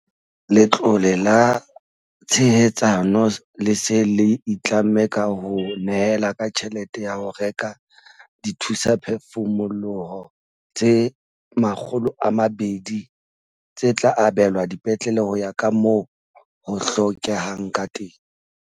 Letlole la Tshehetsano le se le itlamme ka ho nyehela ka tjhelete ya ho reka dithusaphefumoloho tse 200, tse tla abelwa dipetlele ho ya ka moo ho hlokehang ka teng.